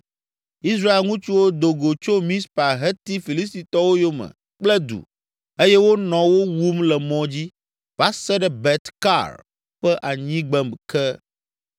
Israel ŋutsuwo do go tso Mizpa heti Filistitɔwo yome kple du eye wonɔ wo wum le mɔ dzi va se ɖe Bet Kar ƒe anyigbe ke.